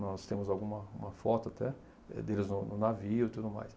Nós temos alguma uma foto até eh deles no navio e tudo mais.